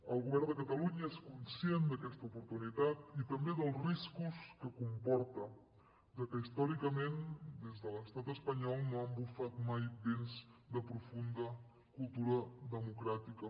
el govern de catalunya és conscient d’aquesta oportunitat i també dels riscos que comporta ja que històricament des de l’estat espanyol no han bufat mai vents de profunda cultura democràtica